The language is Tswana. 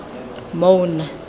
maun